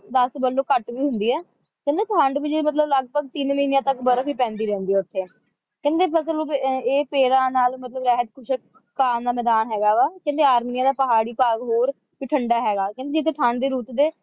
ਦਸ ਵੀ ਲੋ ਜੇ ਘੱਟ ਵੀ ਹੁੰਦੀ ਹੈ ਕਹਿੰਦੇ ਠੰਡ ਵੀ ਜਿਹੜੀ ਮਤਲਬ ਲਗਭਗ ਤਿੰਨ ਮਹੀਨਿਆਂ ਤੱਕ ਬਰਫ ਹੀ ਪੈਂਦੀ ਰਹਿੰਦੀ ਹੈ ਉੱਥੇ ਕਹਿੰਦੇ ਫਸਲ ਉਹ ਫੇਰ ਇਹ ਪੇੜਾਂ ਨਾਲ ਮਤਲਬ ਰਹਿਤ ਖੁਸ਼ਕ ਭਾਗ ਨਾਲ ਮੈਦਾਨ ਹੈਗਾ ਵਾ ਕਹਿੰਦੇ ਆਦਮੀਆਂ ਦਾ ਪਹਾੜੀ ਭਾਗ ਹੋਰ ਵੀ ਠੰਡਾ ਹੈਗਾ ਹੋਰ ਵੀ ਠੰਡਾ ਹੈਗਾ ਕਹਿੰਦੇ ਜਿੱਥੇ ਠੰਡ ਦੀ ਰੁੱਤ ਦੇ